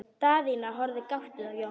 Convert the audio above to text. Daðína horfði gáttuð á Jón.